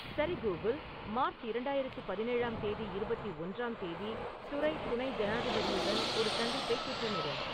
சரி Google March இரண்டாயிரத்து பதினேழாம் தேதி இருபத்தி ஒன்றாம் தேதி துறை துணை ஜனாதிபதியுடன் ஒரு சந்திப்பை திட்டமிடு